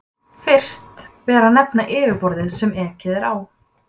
Fyrst ber að nefna yfirborðið sem ekið er á.